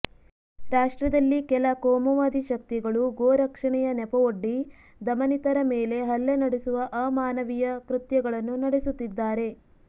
ರಾಷ್ಟ್ರದಲ್ಲಿ ಕೆಲ ಕೋಮುವಾದಿ ಶಕ್ತಿಗಳು ಗೋ ರಕ್ಷಣೆಯ ನೆಪವೊಡ್ಡಿ ದಮನಿತರ ಮೇಲೆ ಹಲ್ಲೆ ನಡೆಸುವ ಅಮಾನವೀಯ ಕೃತ್ಯಗಳನ್ನು ನಡೆಸುತ್ತಿದ್ದಾರೆ